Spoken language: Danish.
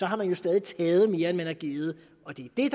har man jo stadig taget mere end man har givet og det er